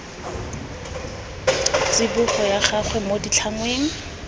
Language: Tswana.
tsibogo ya gagwe mo ditlhangweng